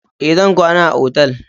Ee, zan kwana a otal.